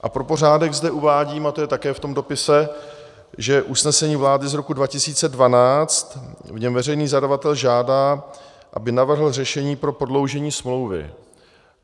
A pro pořádek zde uvádím - a to je také v tom dopise - že usnesení vlády z roku 2012, v něm veřejný zadavatel žádá, aby navrhl řešení pro prodloužení smlouvy.